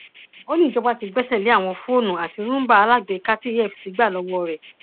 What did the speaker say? ó ní ìjọba tí gbẹsẹ lé àwọn fóònù àti rúńbà aláàgbéká tí efcc gbà lọwọ rẹ